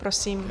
Prosím.